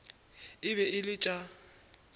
e be e le tša